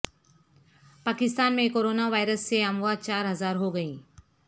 پاکستان میں corona virus سے اموات چار ہزار ہوگئیں